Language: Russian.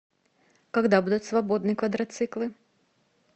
когда будут свободны квадроциклы